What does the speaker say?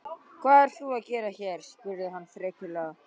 Hvað ert þú að gera hér? spurði hann frekjulega.